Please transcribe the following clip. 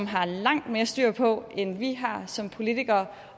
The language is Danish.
har langt mere styr på end vi har som politikere